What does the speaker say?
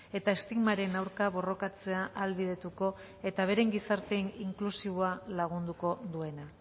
eta estigmaren aurka borrokatzea ahalbidetuko eta beren gizarte inklusiboa lagunduko duena